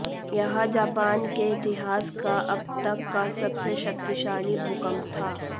यह जापान के इतिहास का अब तक का सबसे शक्तिशाली भूकंप था